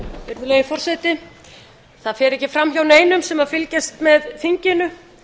virðulegi forseti það fer ekki fram hjá neinum sem fylgjast með þinginu